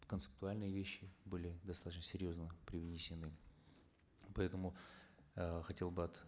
концептуальные вещи были достаточно серьезно привнесены поэтому э хотел бы от